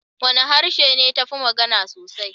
Wane harshe ne ta fi magana sosai?